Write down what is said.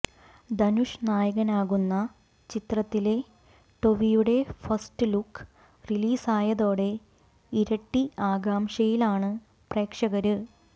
ധനുഷ് നായകനാകുന്ന ചിത്രത്തിലെ ടൊവിയുടെ ഫസ്റ്റ് ലുക്ക് റിലീസായതോടെ ഇരട്ടി ആകാംക്ഷയിലാണ് പ്രേക്ഷകര്